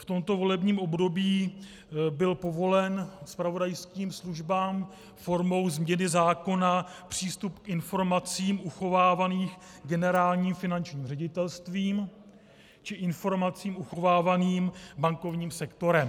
V tomto volebním období byl povolen zpravodajským službám formou změny zákona přístup k informacím uchovávaným Generálním finančním ředitelstvím či informacím uchovávaným bankovním sektorem.